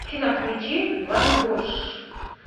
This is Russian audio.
афина включи вангош